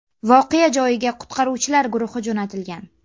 Voqea joyiga qutqaruvchilar guruhi jo‘natilgan.